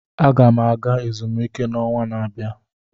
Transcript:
Aga m aga ezumike n'ọnwa na-abịa.